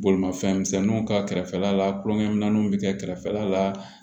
Bolimafɛnmisɛnninw ka kɛrɛfɛla la kulonkɛminɛnw bɛ kɛ kɛrɛfɛla la